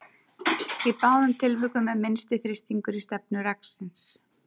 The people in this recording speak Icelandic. Í báðum tilvikum er minnsti þrýstingur í stefnu reksins.